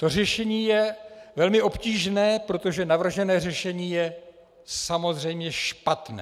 To řešení je velmi obtížné, protože navržené řešení je samozřejmě špatné.